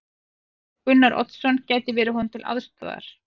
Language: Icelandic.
Gunnar Oddsson gæti verið honum til aðstoðar.